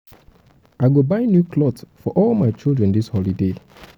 i go buy new clot for all my children dis holiday.